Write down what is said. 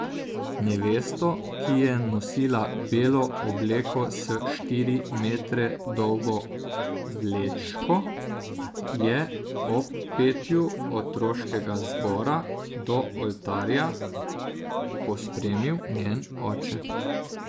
Nevesto, ki je nosila belo obleko s štiri metre dolgo vlečko, je ob petju otroškega zbora do oltarja pospremil njen oče.